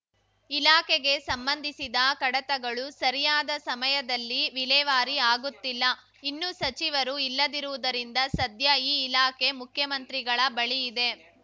ಇಲಾಖೆಗೆ ಸಂಬಂಧಿಸಿದ ಕಡತಗಳು ಸರಿಯಾದ ಸಮಯದಲ್ಲಿ ವಿಲೇವಾರಿ ಆಗುತ್ತಿಲ್ಲ ಇನ್ನು ಸಚಿವರು ಇಲ್ಲದಿರುವುದರಿಂದ ಸದ್ಯ ಈ ಇಲಾಖೆ ಮುಖ್ಯಮಂತ್ರಿಗಳ ಬಳಿ ಇದೆ